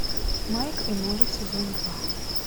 майк и молли сезон два